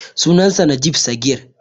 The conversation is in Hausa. Sunansa Najib Sagir.